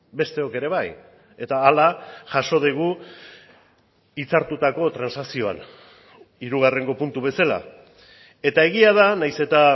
besteok ere bai eta hala jaso dugu hitzartutako transakzioan hirugarrengo puntu bezala eta egia da nahiz eta